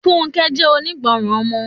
Funke jẹ́ onígbọràn ọmọ.